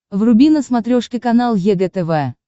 вруби на смотрешке канал егэ тв